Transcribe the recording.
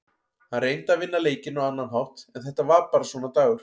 Hann reyndi að vinna leikinn á annan hátt en þetta var bara svona dagur.